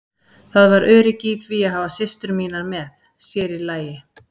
Það var öryggi í því að hafa systur mínar með, sér í lagi